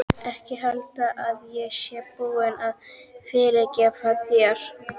Ekki halda að ég sé búin að fyrirgefa þér.